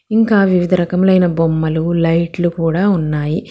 ఇంకా వివిధ రకమైన బొమ్మలు లైట్లు కూడా ఉన్నాయి.